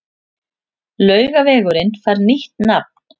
Laugavegurinn fær nýtt nafn